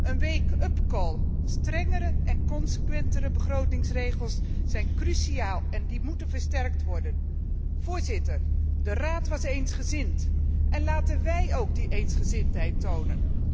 Een wake up call strengere en consequentere begrotingsregels zijn cruciaal en moeten versterkt worden. Voorzitter, de Raad was eensgezind, laten wij ook die eensgezindheid tonen.